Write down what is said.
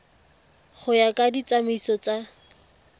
go ya ka ditsamaiso tsa